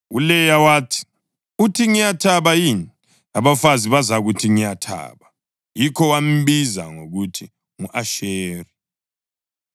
ULeya wathi, “Uthi ngiyathaba yini! Abafazi bazakuthi ngiyathaba.” Yikho wambiza ngokuthi ngu-Asheri.